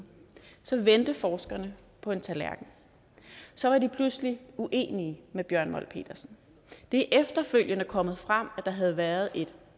så vendte forskerne på en tallerken så var de pludselig uenige med bjørn molt petersen det er efterfølgende kommet frem at der havde været et